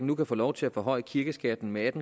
nu kan få lov til at forhøje kirkeskatten med